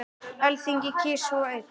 Alþingi kýs svo einn.